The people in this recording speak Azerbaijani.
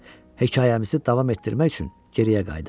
Hekayəmizi davam etdirmək üçün geriyə qayıdaq.